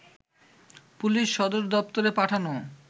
police সদর দপ্তরে পাঠানো